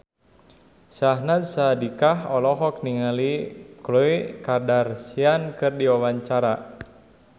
Syahnaz Sadiqah olohok ningali Khloe Kardashian keur diwawancara